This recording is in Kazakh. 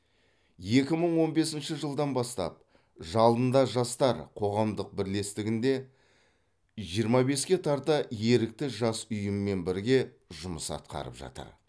екі мың он бесінші жылдан бастап жалында жастар қоғамдық бірлестігінде жиырма беске тарта ерікті жас ұйыммен бірге жұмыс атқарып жатыр